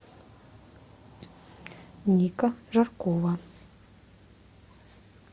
ника жаркова